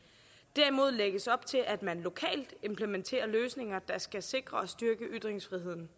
derimod lægges op til at man lokalt implementerer løsninger der skal sikre og styrke ytringsfriheden